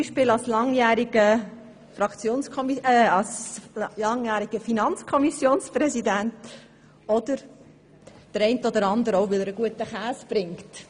Beispielsweise als langjähriger Präsident der Finanzkommission, oder der eine oder andere kennt ihn auch, weil er guten Käse bringt.